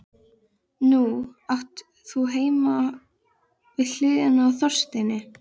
Nú átt þú heima við hliðina á Þorsteini.